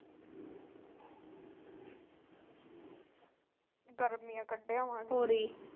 ਗਰਮੀਆਂ ਕੱਢਿਆਵਾ ਹੋਰ ਜੀ